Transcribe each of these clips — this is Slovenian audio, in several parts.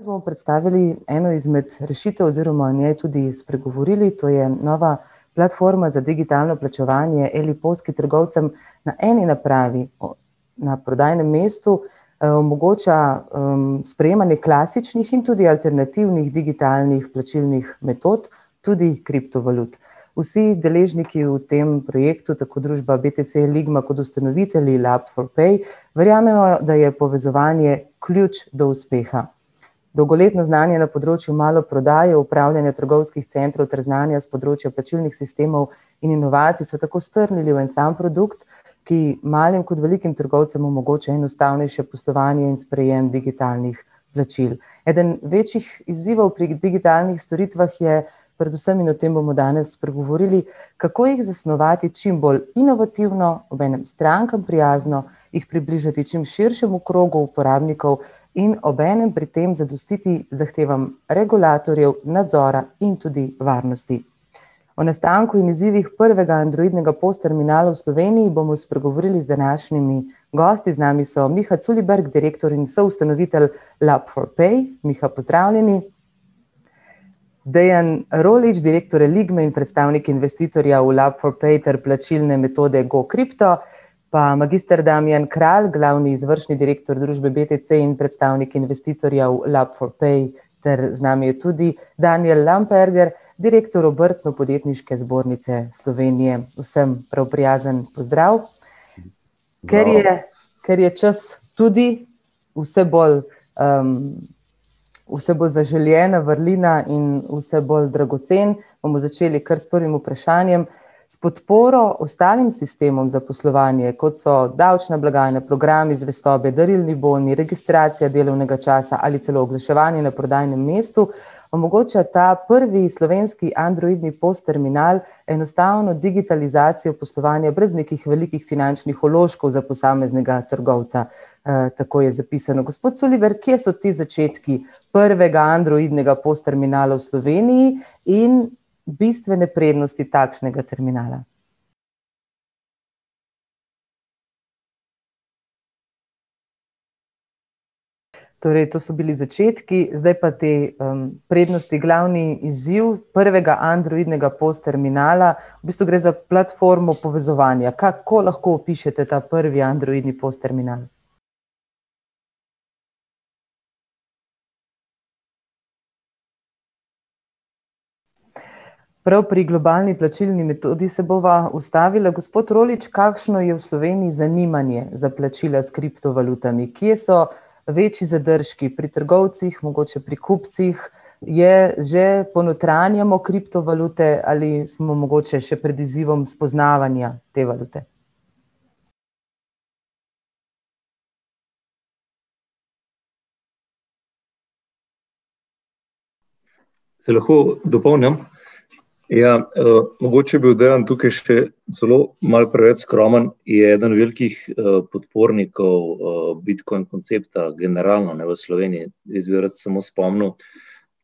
Danes bomo predstavili eno izmed rešitev oziroma o njej tudi spregovorili, to je nova platforma za digitalno plačevanje Eli Pos, ki trgovcem na eni napravi na prodajnem mestu, omogoča, sprejemanje klasičnih in tudi alternativnih digitalnih plačilnih metod, tudi kriptovalut. Vsi deležniki v tem projektu, tako družba BTC Eligma kot ustanovitelji Lab for pay, verjamejo, da je povezovanje ključ do uspeha. Dolgoletno znanje na področju maloprodaje, upravljanja trgovskih centrov ter znanja s področja plačilnih sistemov in inovacij so tako strnili v en sam produkt, ki malim kot velikim trgovcem omogoča enostavnejše poslovanje in sprejem digitalnih plačil. Eden večjih izzivov pri digitalnih storitvah je, predvsem o tem bomo danes spregovorili, kako jih zasnovati čim bolj inovativno, obenem strankam prijazno, jih približati čim širšemu krogu uporabnikov in obenem pri tem zadostiti zahtevam regulatorjev, nadzora in tudi varnosti. O nastanku in izzivih prvega androidnega POS-terminala v Sloveniji bomo spregovorili z današnjimi gosti, z nami so Miha Culiberg, direktor in soustanovitelj Lab for pay, Miha, pozdravljeni. Dejan Roljič, direktor Eligme in predstavnik investitorjev Lab for pay ter plačilne metode GoCrypto, pa magister Damjan Kralj, glavni izvršni direktor družbe BTC in predstavnik investitorjev Lab for pay, ter z nami je tudi Danijel Lamperger, direktor Obrtno-podjetniške zbornice Slovenije, vsem prav prijazen pozdrav. Ker je, ker je čas tudi vse bolj, vse bolj zaželena vrlina in vse bolj dragocen, bomo začeli kar s prvim vprašanjem. S podporo ostalim sistemom zaposlovanja, kot so daljša blagajna, programi zvestobe, darilni boni, registracija delovnega časa ali celo oglaševanje na prodajnem mestu, omogoča ta prvi slovenski androidni POS-terminal enostavno digitalizacijo poslovanja brez nekih velikih finančnih vložkov za posameznega trgovca. tako je zapisano, gospod Culiberg, kje so ti začetki prvega androidnega POS-terminala v Sloveniji in bistvene prednosti takšnega terminala? Torej to so bili začetki, zdaj pa te, prednosti, glavni izziv prvega androidnega POS-terminala, v bistvu gre za platformo povezovanja, kako lahko opišete ta prvi androidni POS-termina()? Prav pri globalni plačilni metodi se bova ustavila, gospod Roljič, kakšno je v Sloveniji zanimanje za plačilo s kriptovalutami, kje so večji zadržki pri trgovcih, mogoče pri kupcih? Je že, ponotranjamo kriptovalute ali smo mogoče še pred izzivom spoznavanja te valute? Te lahko dopolnim? Ja, mogoče je bil Dejan tukaj celo malo preveč skromen, je eden velikih, podpornikov, bitcoin koncepta, generalno, ne, v Sloveniji, jaz bi rad samo spomnil,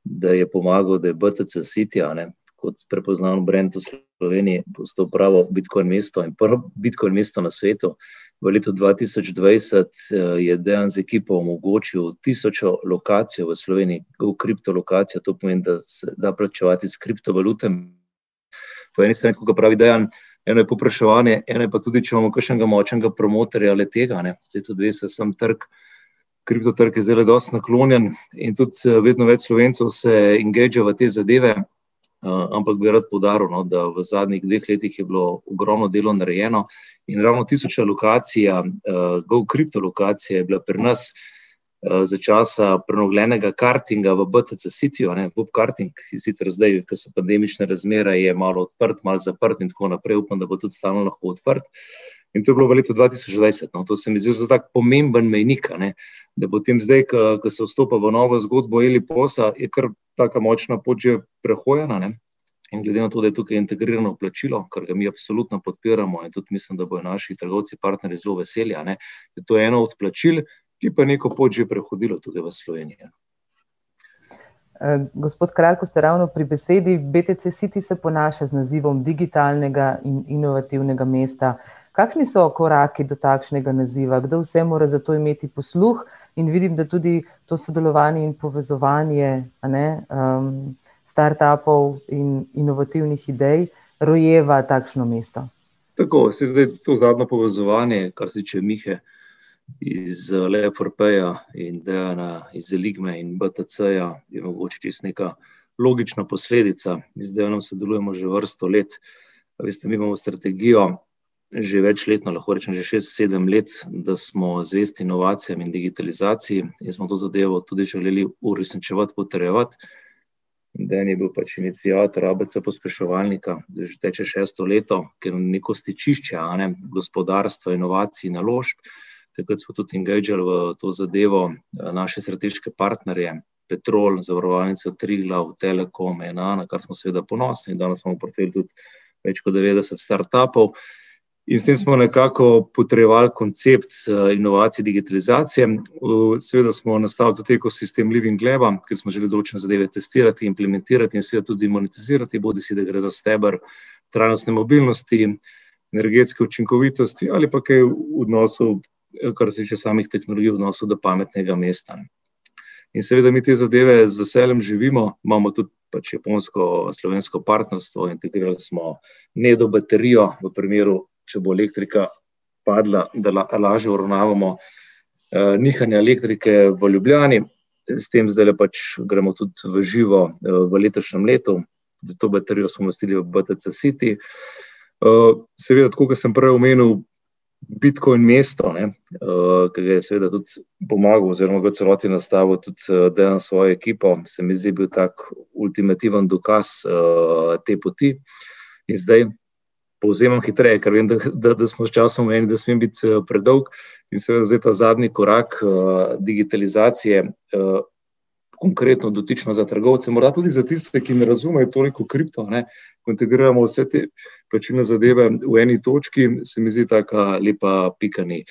da je pomagal, da je BTC City, a ne, kot prepoznan brand v Sloveniji, postal pravo bitcoin mesto in prvo bitcoin mesto na svetu. V letu dva tisoč dvajset, je Dejan z ekipo omogočil tisočo lokacijo v Sloveniji, GoCrypto lokacijo, to pomeni, da se da plačevati s kriptovalutami. Po eni strani, tako kot pravi Dejan, eno je povpraševanje, eno je pa tudi, če imamo kakšnega močnega promotorja, le-tega, ne, saj tudi veste, samo trg, kriptotrg je zdajle dosti naklonjen in tudi, vedno več Slovencev se engagea v te zadeve. ampak bi rad poudaril, no, da v zadnjih dveh letih je bilo ogromno delo narejeno, in ravno tisoča lokacija, GoCrypto lokacija je bila pri nas, za časa prenovljenega kartinga v BTC Cityju, a ne, gokarting, ki sicer zdaj, ke so pandemične razmere, je malo odprt, malo zaprt in tako naprej, upam, da bo tudi stalno lahko odprt, in to je bilo v letu dva tisoč dvajset, no, to se mi zdi zelo tako pomemben mejnik, a ne, da potem zdaj, ker, ker se vstopa v novo zgodbo Eli Posa, je kar taka močna pot že prehojena, ne. In glede na to, da je tukaj integrirano plačilo, ker ga mi absolutno podpiramo, in tudi mislim, da bojo naši trgovci, partnerji zelo veseli, a ne, da je to eno od plačil, ki je pa neko pot že prehodilo tudi v Sloveniji, ja. gospod Kralj, ko ste ravno pri besedi, BTC City se ponaša z nazivom digitalnega in inovativnega mesta, kakšni so koraki do takšnega naziva, kdo vse mora za to imeti posluh? In vidim, da tudi to sodelovanje in povezovanje, a ne, startupov in inovativnih idej rojeva takšno mesto. Tako, saj zdaj, to zadnje povezovanje, kar se tiče Mihe iz, Laba for paya iz Dejana iz Eligme in BTC-ja, je mogoče čisto neka logična posledica, z Dejanom sodelujemo že vrsto let, a veste, mi imamo strategijo že večletno, lahko rečem že šest, sedem let, da smo zvesti inovacijam in digitalizaciji in smo to zadevo tudi želeli uresničevati, potrjevati. Dejan je bil pač iniciator ABC-pospeševalnika, zdaj že teče šesto leto, ker neko stičišče, a ne, gospodarstva, inovacij, naložb ... Takrat so tudi engageal v to zadevo, naše strateške partnerje, Petrol, Zavarovalnica Triglav, Telekom, smo seveda ponosni, danes smo pri teh tudi več kot devetdeset startupov. In s tem smo nekako potrjevali koncept inovacij, digitalizacij, seveda smo nastavili tudi ekosistem Living Laba, kjer smo želeli določene zadeve testirati, implementirati in seveda tudi monetizirati, bodisi da gre za steber trajnostne mobilnosti, energetske učinkovitosti ali pa kaj v odnosu, kar se tiče samih tehnologij, odnosu do pametnega mesta. In seveda mi ti zadeve z veseljem živimo, imamo tudi pač japonsko-slovensko partnerstvo, integrirali smo baterijo, v primeru, če bo elektrika padla, da lažje uravnavamo, nihanje elektrike v Ljubljani, s tem zdajle pač gremo tudi v živo, v letošnjem letu, zato baterijo smo BTC City. seveda, tako kot sem prej omenil, bitcoin mesto, a ne, ker je seveda tudi pomagal oziroma v celoti nastavil tudi, Dejan s svojo ekipo, se mi zdi, je bil tak ultimativen dokaz, te poti. In zdaj ... Povzemam hitreje, ker vem, da, da smo s časom omejeni, ne smem biti, predolg, in seveda, zdaj ta zadnji korak, digitalizacije, konkretno dotično za trgovce, morda tudi za tiste, ki ne razumejo toliko kripto, a ne, integriramo vse te plačilne zadeve v eni točki, se mi zdi taka lepa pika na i.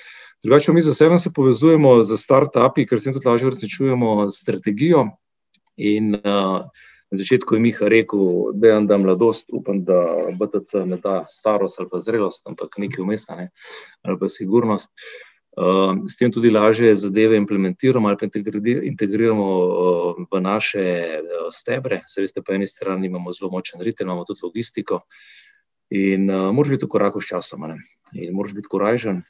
Drugače pa mi zasebno se povezujemo s startupi, ker s tem tudi lažje uresničujemo strategijo, in, na začetku je Miha rekel, Dejan da mladost, upam, da BTC ne da starost ali pa zrelost, ampak nekaj vmes, a ne, ali pa sigurnost, s tem tudi lažje zadeve implementiramo ali pa integriramo, v naše, stebre, saj veste, po eni strani imamo zelo močen ritem, imamo tudi logistiko, in, moraš biti v koraku s časom, ne. In moraš biti korajžen,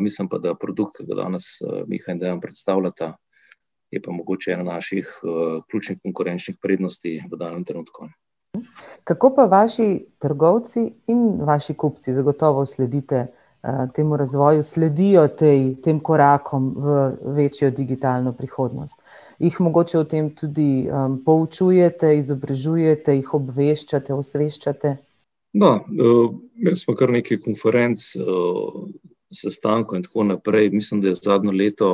mislim pa, da produkt, ke ga danes, Miha in Dejan predstavljata, je pa mogoče en naših, ključnih konkurenčnih prednosti v danem trenutku. Kako pa vaši trgovci in vaši kupci, zagotovo sledite, temu razvoju, sledijo tej, tem korakom v večjo digitalno prihodnost? Jih mogoče o tem tudi, poučujete, izobražujete, jih obveščate, osveščate? No, imeli smo kar nekaj konferenc, sestankov in tako naprej, mislim, da je zadnje leto,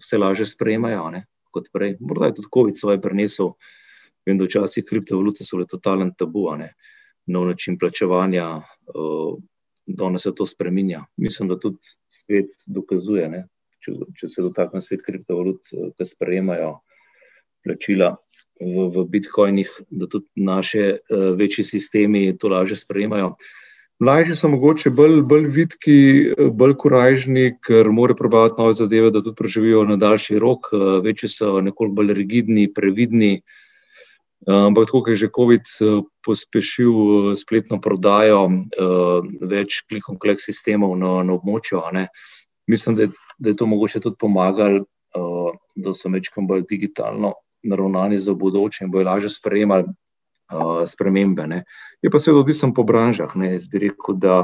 vse lažje sprejemajo, a ne, kot prej, morda je tudi kovid svoje prinesel, vem, da včasih kriptovalute so bile totalen tabu, a ne. Nov način plačevanja, danes se to spreminja, mislim, da tudi svet dokazuje, ne. Če če se dotaknem spet kriptovalut, da sprejemajo plačila v, v bitcoinih, da tudi naše, večji sistemi to lažje sprejemajo. Mlajši so mogoče bolj, bolj vitki, bolj korajžni, ker morajo probavati nove zadeve, da tudi preživijo na daljši rok, večji so nekoliko bolj rigidni, previdni. ampak tako ke je že covid, pospešil, spletno prodajo, več sistemov na, na območju, a ne, mislim, da da je to mogoče tudi pomagalo, da so majčkeno bolj digitalno naravnani, za v bodoče bojo lažje sprejemali, spremembe, ne. Je pa, seveda, odvisno po branžah, ne, jaz bi rekel, da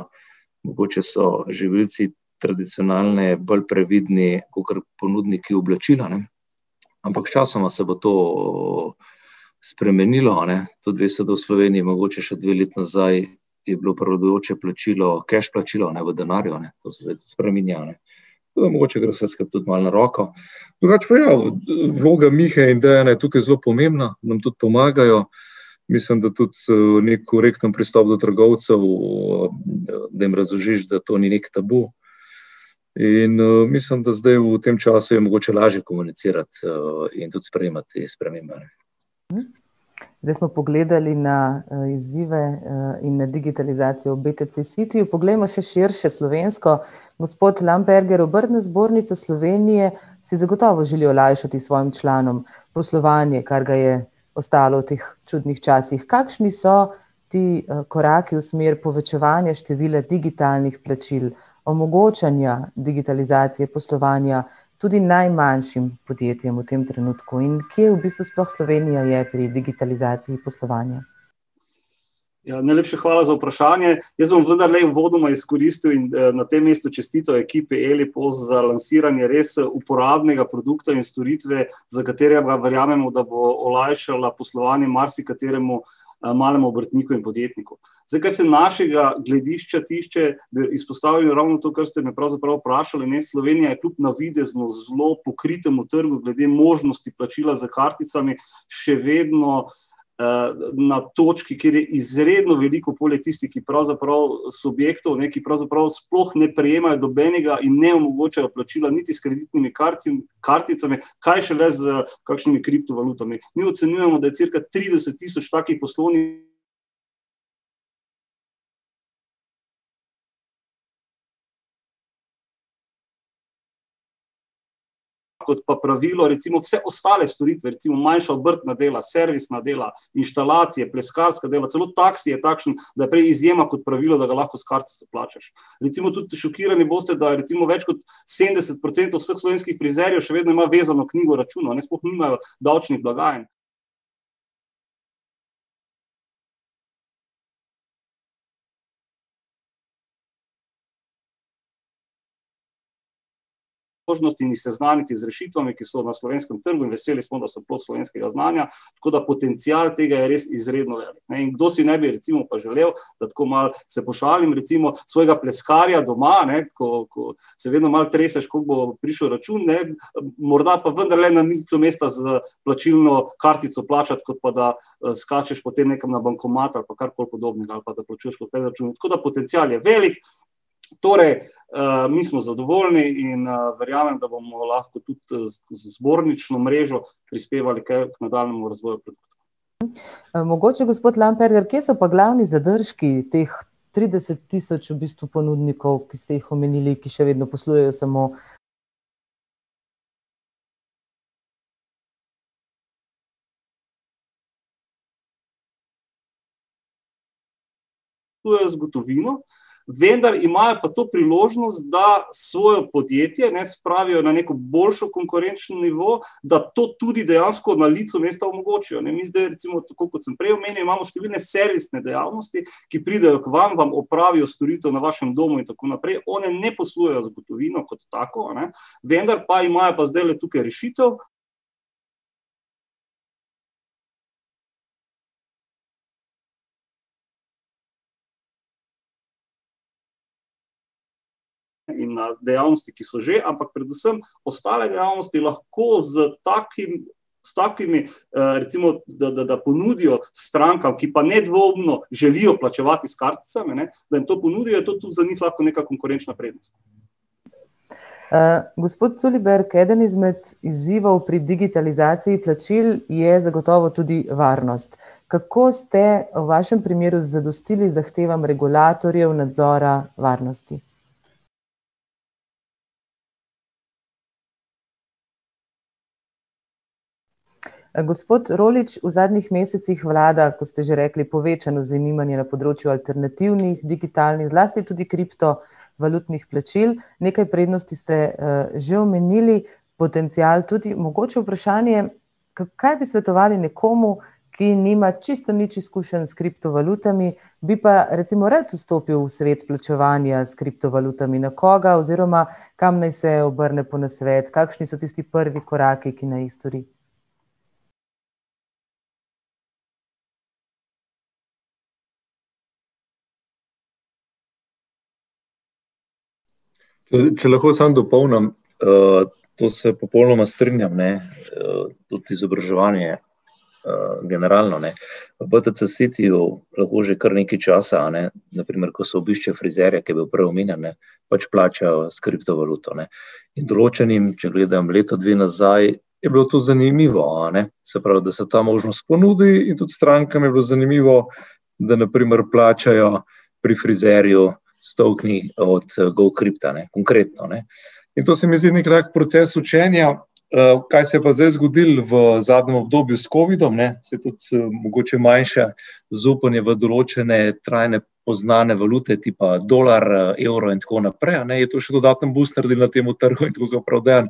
mogoče so živilci tradicionalno bolj previdni kakor ponudniki oblačil, a ne, ampak sčasoma se bo to spremenilo, a ne, tudi veste, da v Sloveniji je bilo mogoče še dve leti nazaj, je bilo prevladujoče plačilo keš plačilo, ne, v denarju, a ne, to se zdaj spreminja, a ne. Nam mogoče gre tudi vse skupaj malo na roko. Drugače pa ja, vloga Mihe in Dejana je tukaj zelo pomembna, nam tudi pomagajo, mislim, da tudi, neki korekten pristop do trgovcev, da jim razložiš, da to ni neki tabu. In, mislim, da zdaj v tem času je mogoče lažje komunicirati, in tudi sprejemati te spremembe, a ne. Zdaj smo pogledali na, izzive, in na digitalizacijo v BTC City, poglejmo še širše slovensko. Gospod Lamperger, Obrtna zbornica Slovenije si zagotovo želi olajšati svojim članom poslovanje, kar ga je ostalo v teh čudnih časih. Kakšni so ti, koraki v smer povečevanja števila digitalnih plačil, omogočanja digitalizacije poslovanja tudi najmanjšim podjetjem v tem trenutku in kje v bistvu sploh Slovenija je pri digitalizaciji poslovanja? Ja, najlepša hvala za vprašanje, jaz bom vendarle uvodoma izkoristil, in na tem mestu čestital ekipi Eli Pos za lansiranje res, uporabnega produkta in storitve, za katerega verjamemo, da bo olajšala poslovanje marsikateremu, malemu obrtniku in podjetniku. Zdaj kaj se našega gledišča tiče, bi izpostavil ravno to, kar ste me pravzaprav vprašali, ne, Slovenija je tudi navidezno zelo pokritemu trgu glede možnosti plačila s karticami še vedno, na točki, kjer je izredno veliko, poleg tistih, ki pravzaprav, subjektov, ne, ki pravzaprav sploh ne prejemajo nobenega in ne omogočajo plačila niti s kreditnimi karticami, kaj šele s kakšnimi kriptovalutami. Mi ocenjujemo, da je cirka trideset tisoč takih ...... kot pa pravilo, recimo, vse ostale storitve recimo, manjša obrtna dela servisna, dela inštalacije, pleskarska dela, celo taksi je takšen, da prej izjema kot pravilo, da ga lahko s kratico plačaš. Recimo tudi šokirani boste, da je recimo več kot sedemdeset procentov vseh slovenskih frizerjev še vedno ima vezano knjigo računov, a ne, sploh nimajo davčnih blagajn. ... možnosti in jih seznaniti z rešitvami, ki so v slovenskem trgu in, veseli smo, da so plod slovenskega znanja, tako da potencial tega je res izredno velik, ne, in kdo si ne bi recimo pa želel, da tako malo se pošalim, recimo, svojega pleskarja doma, a ne, ko, ko se vedno malo treseš, koliko bo prišel račun, ne, morda pa vendarle na licu mesta s plačilno kartico plačati, kot pa da, skačeš potem nekam na bankomat ali pa karkoli podobnega ali pa da plačuješ po predračunu. Tako da potencial je velik, torej, mi smo zadovoljni in, verjamem, da bomo lahko tudi, z zbornično mrežo prispevali k nadaljnjemu razvoju mogoče, gospod Lamperger, kje so pa glavni zadržki teh trideset tisoč v bistvu ponudnikov, ki ste jih omenili, ki še vedno poslujejo samo ... z gotovino, vendar imajo pa to priložnost, da svojo podjetje, ne, spravijo na neko boljšo konkurenčni nivo, da to tudi dejansko na licu mesta omogočijo, ne, mi zdaj recimo, tako kot sem prej omenjal, imamo številne servisne dejavnosti, ki pridejo k vam, vam opravijo storitev na vašem domu in tako naprej, one ne poslujejo z gotovino kot tako, a ne, vendar pa imajo pa zdajle tukaj rešitev ...... in ali dejavnosti ki, so že ampak, predvsem ostale dejavnosti lahko s takim s takimi, recimo, da, da, da ponudijo strankam, ki pa nedvoumno želijo plačevati s karticami, ne, da jim to ponudijo in to tudi za njih lahko neka konkurenčna prednost. gospod Culiberg, eden izmed izzivov pri digitalizaciji plačil je zagotovo tudi varnost. Kako ste v vašem primeru zadostili zahtevam regulatorjev, nadzora, varnosti? gospod Roljič, v zadnjič mesecih vlada, kot ste že rekli, povečano zanimanje na področju alternativnih digitalnih, zlasti tudi kriptovalutnih plačil, nekaj prednosti ste, že omenili, potencial tudi, mogoče vprašanje, kaj bi svetovali nekomu, ki nima čisto nič izkušenj s kriptovalutami, bi pa, recimo, rad vstopil v svet plačevanja s kriptovalutami, na koga oziroma kam naj se obrne po nasvet, kakšni so tisti prvi koraki, ki naj jih stori? če lahko samo dopolnim, to se popolnoma strinjam, ne, tudi izobraževanje, generalno, ne. V BTC Cityju lahko že kar nekaj časa, a ne, na primer, ko se obišče frizerja, ki je bil prej omenjen, ne, pač plačajo s kriptovaluto, ne. Določenim, če gledam leto, dve nazaj, je bilo to zanimivo, a ne, se pravi, da se ta možnost ponudi in tudi strankam je bilo zanimivo, da na primer plačajo pri frizerju s tokeni od, GoCrypta, ne, konkretno, ne. In to se mi zdi neki tak proces učenja, kaj se je pa zdaj zgodilo v zadnjem obdobju s covidom, ne, se tudi, mogoče manjša zaupanje v določene trajne poznane valute tipa dolar, evro in tako naprej, a ne, je to še dodaten booster temu trgu, in tako kot pravi Dejan,